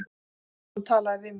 Helgason talaði við mig.